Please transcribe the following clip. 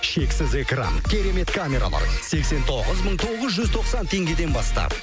шексіз экран керемет камералар сексен тоғыз мың тоғыз жүз тоқсан теңдеген бастап